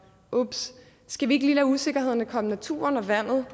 ups skal vi ikke lige lade usikkerhederne komme naturen og vandet